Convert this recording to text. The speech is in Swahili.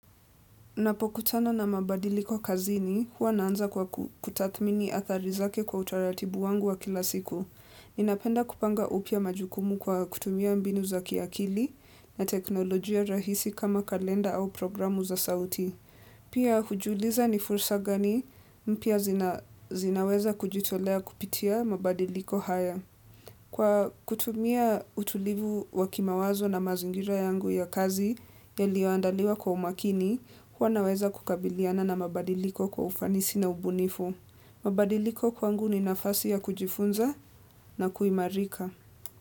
Napokutana na mabadiliko kazini, huwa naanza kwa kutathmini athari zake kwa utaratibu wangu wa kila siku. Ninapenda kupanga upya majukumu kwa kutumia mbinu za kiakili na teknolojia rahisi kama kalenda au programu za sauti. Pia hujuliza ni fursa gani mpya zinaweza kujitolea kupitia mabadiliko haya. Kwa kutumia utulivu wa kimawazo na mazingira yangu ya kazi yaliyoandaliwa kwa umakini, huwa naweza kukabiliana na mabadiliko kwa ufanisi na ubunifu. Mabadiliko kwangu ni nafasi ya kujifunza na kuimarika.